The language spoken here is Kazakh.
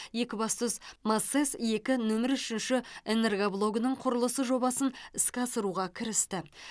екібастұз масэс екі нөмірі үшінші энергоблогының құрылысы жобасын іске асыруға кірісті